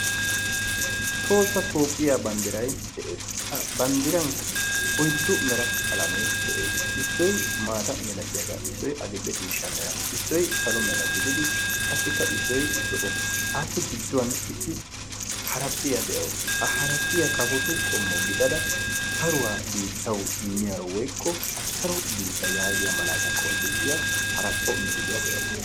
Tohossa Toophphiya banddiray de'ees. Ha banddirankka oyddu mera qalamee de'ees. Issoy maata malatiyagaa, issoy adil''e ciishsha mera, issoy salo mera gididi qassikka issoy zo'o appe gidduwan issi haraphphiya de'awusu. Ha haraphphiya kafotu qommo gidada saruwa biittawu immiyaro woykko saro biitta yaagiya malaataa qonccissiya haraphpho issinna de'awusu.